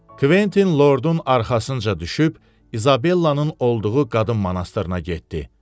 Kventin Lordun arxasınca düşüb, İzabellanın olduğu qadın monastırına getdi.